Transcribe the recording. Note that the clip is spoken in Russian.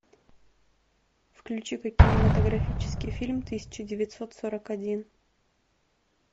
включи ка кинематографический фильм тысяча девятьсот сорок один